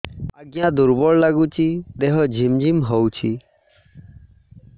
ଆଜ୍ଞା ଦୁର୍ବଳ ଲାଗୁଚି ଦେହ ଝିମଝିମ ହଉଛି